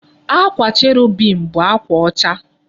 Akwa cherubim bụ akwa ọcha